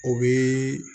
O bi